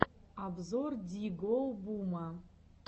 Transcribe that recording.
обзор ди гоу бума